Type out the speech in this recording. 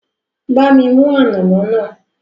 Bá mi mú ànàmọ́ náà